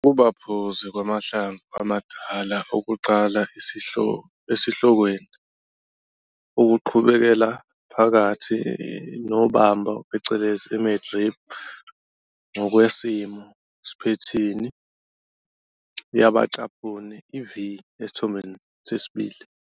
Ukuba phuzi kwamahlamvu amadala okuqala esihlokweni, okuqhubekela phakathi nobambo phecelezi i-mid-rib ngokwesimo sphethini yabacaphuni i-"V", Isithombe 2.